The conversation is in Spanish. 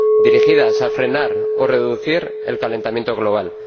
dirigidas a frenar o reducir el calentamiento global.